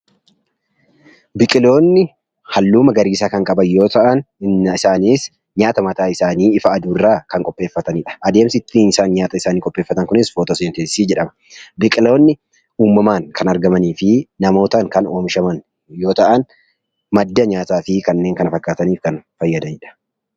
Biqiloonni halluu magariisa kan qaban yoo ta'an isaanis nyaata mataa isaanii ifa aduurraa kan qopheeffatanidha. Adeemsi isaan nyaata isaanii ittiin qopheeffatan kunis footooseenteesisii jedhama. Biqiloonni uumamaan kan argamanii finamootaan kan oomishaman yoo ta'an, madda nyaataa fi kaneen kana fakkaataniif kanneen fayyadanidha.